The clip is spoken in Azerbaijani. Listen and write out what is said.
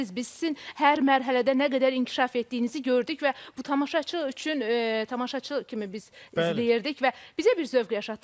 Biz sizin hər mərhələdə nə qədər inkişaf etdiyinizi gördük və bu tamaşaçı üçün tamaşaçı kimi biz izləyirdik və bizə bir zövq yaşatdı.